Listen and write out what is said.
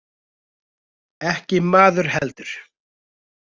Ekki maður heldur.